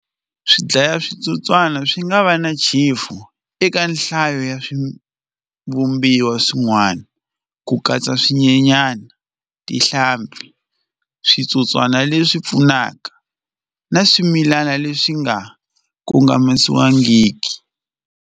Swi dlaya switsotswana swi nga va na chefu eka nhlayo ya swivumbiwa swin'wana ku katsa swinyenyana tihlampfi switsotswana leswi pfunaka na swimilana leswi nga kongomisiwangiki.